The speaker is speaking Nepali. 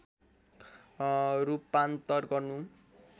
रूपान्तर गर्नु